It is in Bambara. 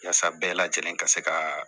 Yasa bɛɛ lajɛlen ka se ka